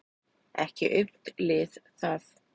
Ekki aumt lið það.